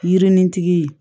Yirinitigi